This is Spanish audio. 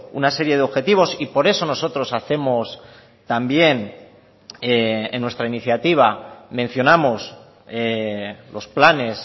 una serie de objetivos y por eso nosotros hacemos también en nuestra iniciativa mencionamos los planes